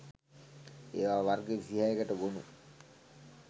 ඒවා වර්ග 26 කට ගොනු